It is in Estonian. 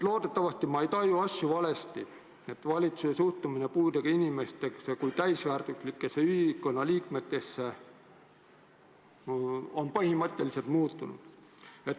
Loodetavasti ma ei taju asju valesti, ega valitsuse suhtumine puudega inimestesse kui täisväärtuslikesse ühiskonnaliikmetesse pole ometi põhimõtteliselt muutunud?